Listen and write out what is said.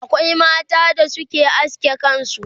akwai mata da Suke aske kansu